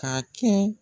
Ka kɛ